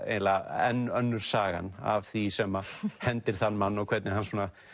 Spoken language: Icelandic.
eiginlega enn önnur sagan af því sem hendir þann mann og hvernig hann